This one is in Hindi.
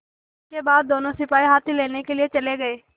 इसके बाद दोनों सिपाही हाथी लेने के लिए चले गए